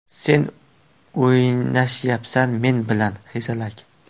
Sen o‘ynashyapsan men bilan, hezalak!